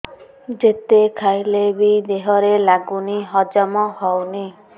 ଯେତେ ଖାଇଲେ ବି ଦେହରେ ଲାଗୁନି ହଜମ ହଉନି